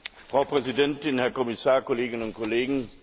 Frau Präsidentin, Herr Kommissar, Kolleginnen und Kollegen!